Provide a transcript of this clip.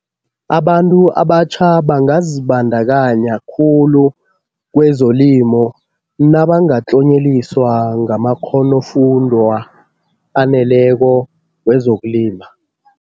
Abantu abatjha bangazibandakanya khulu kwezelimo nabangatlonyeliswa ngamakghonofundwa aneleko wezokulima.